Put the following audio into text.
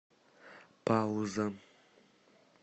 пауза